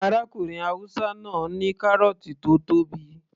Arákùnrin haúsá náà ní kárọ̀ọ̀tì tó tóbi